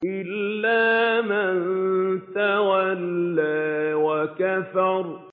إِلَّا مَن تَوَلَّىٰ وَكَفَرَ